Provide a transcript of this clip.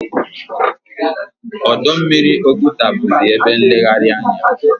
Ọdọ mmiri Oguta bụzi ebe nlegharị anya.